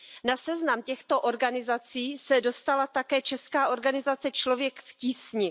Na seznam těchto organizací se dostala také česká organizace Člověk v tísni.